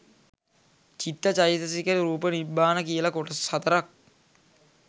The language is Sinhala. චිත්ත චෛතසික රූප නිබ්බාන කියල කොටස් හතරක්